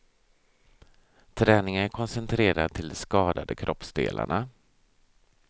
Träningen är koncentrerad till de skadade kroppsdelarna.